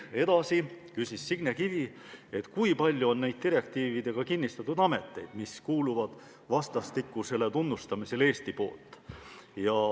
Signe Kivi küsis, kui palju on neid direktiividega kinnistatud ameteid, mis kuuluvad vastastikusele tunnustamisele.